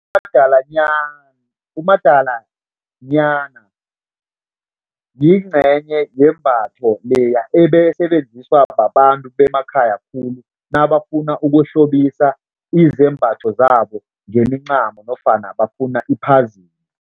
Umadalanyana yingcenye yembatho leya ebeyisebenziswa babantu bemakhaya khulu nabafuna ukuhlobisa izembatho zabo ngemincamo nofana bafuna iphazime.